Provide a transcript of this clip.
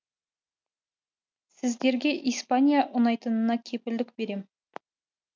сіздерге испания ұнайтынына кепілдік берем